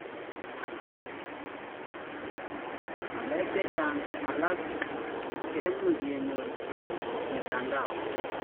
Ngalek chechang alak kemuch kenyor en mitandao